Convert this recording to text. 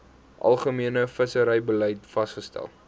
algemene visserybeleid vasgestel